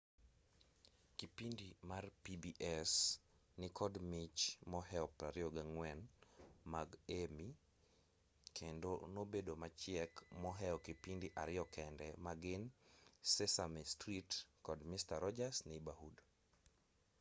kipindi mar pbs nikod mich mohew 24 mag emmy kendo nobedo machiek mohew kipindi ariyo kende magin sesame street kod mister rodgers' neighborhood